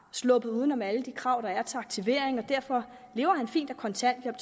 sluppet uden om alle de krav der er til aktivering og derfor lever han fint af kontanthjælp